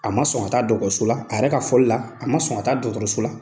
A ma sɔn ka taa dɔgɔtɔrɔso la , a yɛrɛ ka foli la, a ma sɔn ka taa dɔgɔtɔrɔso la.